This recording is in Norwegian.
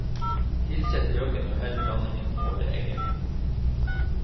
Tilsett løken og hell blandingen over eggene.